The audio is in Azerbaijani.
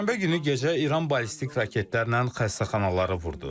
Çərşənbə günü gecə İran ballistik raketlərlə xəstəxanaları vurdu.